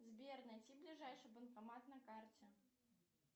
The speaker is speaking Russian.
сбер найди ближайший банкомат на карте